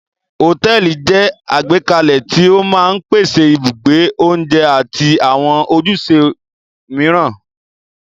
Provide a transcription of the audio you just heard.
Hòtẹ́ẹ́lì jẹ́ àgbékalẹ̀ tí ó máa ń pèsè ibùgbé, oúnjẹ àti àwọn ojúṣe mìíràn.